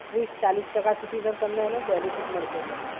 ત્રીસ-ચાલીસ ટકા સુધી તમને એનો બેનિફિટ મળશે, સર.